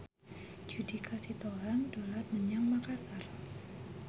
Judika Sitohang dolan menyang Makasar